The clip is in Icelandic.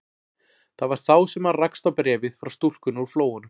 Það var þá sem hann rakst á bréfið frá stúlkunni úr Flóanum.